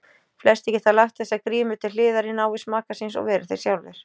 Flestir geta lagt þessa grímu til hliðar í návist maka síns og verið þeir sjálfir.